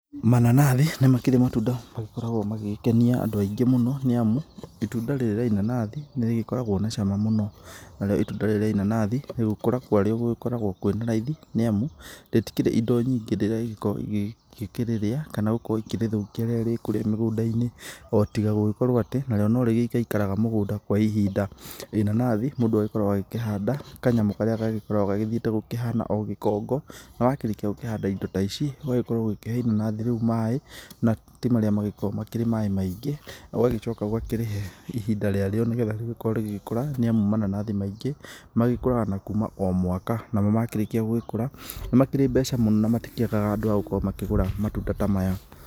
Mananathi nĩ makĩrĩ matunda magĩkoragwo magĩgĩkenia andũ aingĩ mũno nĩ amu itunda rĩrĩ rĩa inanathi nĩ rĩgĩkoragwo na cama mũno. Narĩo itunda rĩrĩ rĩa inanathi, gũkũra kwarĩo gũgĩkoragwo kwĩna raithi nĩ amu rĩtikĩrĩ indo nyingĩ rĩrĩa rĩgĩkoragwo rĩgĩgĩkĩrĩrĩa kana gũkorwo rĩkĩrĩthũkia rĩrĩa rĩ kũrĩa mĩgũnda-inĩ o tiga gũgĩkorwo atĩ narĩo nĩ rĩgĩikaikaraga mũgũnda kwa ihinda. Inanathi mũndũ agĩkoragwo agĩkĩhanda kanyamũ karĩa gagĩkoragwo gagĩthiĩte gũkĩhana gĩkongo, na wakĩrĩkia gũkĩhanda indo ta ici, ũgagĩkorwo ũgĩkĩhe inanathi rĩu maĩ na ti marĩa magĩkoragwo makĩrĩ maĩ maingĩ, ũgagĩcoka ũgakĩrĩhe ihinda rĩarĩo nĩgetha rĩgĩkorwo rĩgĩkũra nĩ amu mananathi maingĩ magĩkũraga na kuma o mwaka namo makĩrĩkia gũgĩkũra, nĩ makĩrĩ na mbeca mũno na matikĩagaga andũ a gũkorwo makĩgũra matunda ta maya.